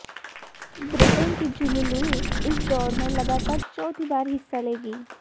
Britain की Julie Lewis इस दौड़ में लगातार चौथी बार हिस्सा लेंगी